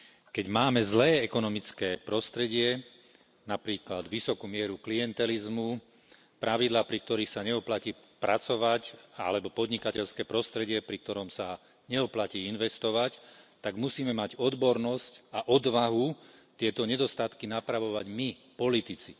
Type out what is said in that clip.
Keď máme zlé ekonomické prostredie, napríklad vysokú mieru klientelizmu, pravidlá, pri ktorých sa neoplatí pracovať, alebo podnikateľské prostredie, pri ktorom sa neoplatí investovať, tak musíme mať odbornosť a odvahu tieto nedostatky napravovať my politici.